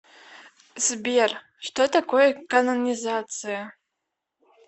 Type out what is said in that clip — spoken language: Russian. сбер что такое канонизация